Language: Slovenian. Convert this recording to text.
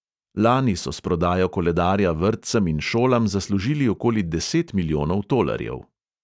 Lani so s prodajo koledarja vrtcem in šolam zaslužili okoli deset milijonov tolarjev.